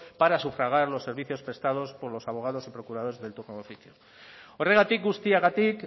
para sufragar los servicios prestados por los abogados y procuradores del turno de oficio horregatik guztiagatik